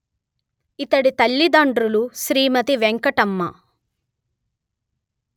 ఇతడి తల్లి దండ్రులు శ్రీమతి వెంకట్మ